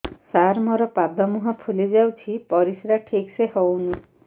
ସାର ମୋରୋ ପାଦ ମୁହଁ ଫୁଲିଯାଉଛି ପରିଶ୍ରା ଠିକ ସେ ହଉନି